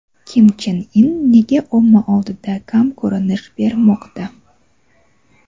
Kim Chen In nega omma oldida kam ko‘rinish bermoqda?.